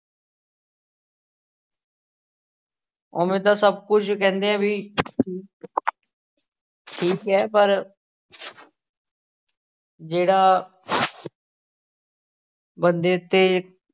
ਉਵੇਂ ਤਾਂ ਸਭ ਕੁੱਝ ਕਹਿੰਦੇ ਆ ਵੀ ਠੀਕ ਹੈ ਪਰ ਜਿਹੜਾ ਬੰਦੇ ਉੱਤੇ